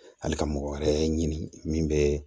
Hali ka mɔgɔ wɛrɛ ɲini min bɛ